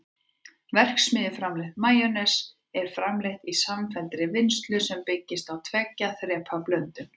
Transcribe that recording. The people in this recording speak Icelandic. verksmiðjuframleitt majónes er framleitt í samfelldri vinnslu sem byggist á tveggja þrepa blöndun